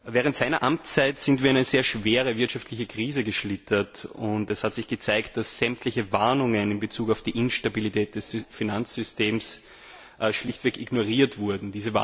Während seiner Amtszeit sind wir in eine sehr schwere wirtschaftliche Krise geschlittert, und es hat sich gezeigt, dass sämtliche Warnungen in Bezug auf die Instabilität des Finanzsystems schlichtweg ignoriert wurden.